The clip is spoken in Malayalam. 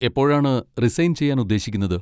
എപ്പോഴാണ് റിസൈൻ ചെയ്യാൻ ഉദേശിക്കുന്നത്?